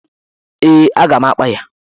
Ee, a ga m akpa ya.